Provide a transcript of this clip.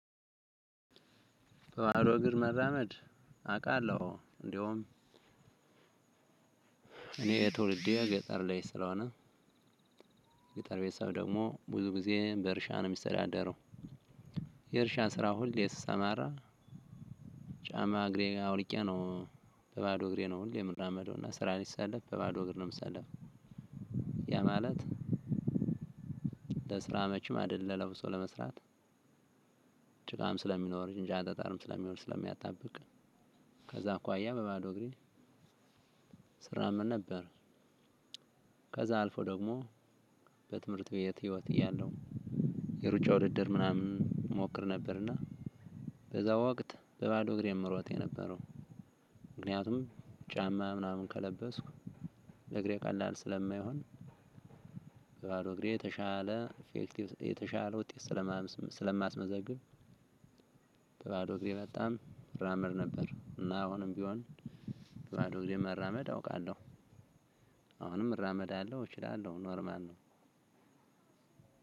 በባዶ እግር መራመድ አውቃለሁ። እንደውም እኔ ትውልዴ ገጠር ላይ ስለሆነ የገጠር ቤተሰብ ደግሞ ብዙ ጊዜ በእርሻ ነው የሚተዳደረው። የእርሻ ስራ ሁል ስሰማራ። ጫማ እግሬ ጋ አውልቄ ነው በባዶ እግሬ ነው ሁሌ የምራመደው እና ስራ ላይ ስሰለፍ በባዶ እግር ነው የምሰለፈው። ያ ማለት ለስራ መቼም አይደለም ለብሶ ለመስራት። ጭቃም ስለሚኖር እንጃ ጠጠርም ስለሚሆን ስለሚያጣብቅ ከዛ አኳያ በባዶ እግሬ እሰራም ነበረ። ከዛ አልፎ ደግሞ በትምህርት ቤት ህይወት እያለሁ የሩጫ ውድድር ምናምን እሞክር ነበር። እና በዛ ወቅት በባዶ እግሬ ነው የምሮጥ የነበረው። ምክንያቱም ጫማ ምናምን ከለበስኩ እግሬ ቀላል ስለማይሆን። በባዶ እግሬ የተሻለ የተሻለ ውጤት ስለማስመዘግብ። በባዶ እግሬ በጣም እራመድ ነበር እና አሁንም ቢሆን በባዶ እግሬ መራመድ አውቃለሁ። አሁንም እራመዳለሁ እችላለሁ ኖርማል ነው።